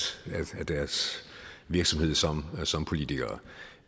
af deres virksomhed som som politikere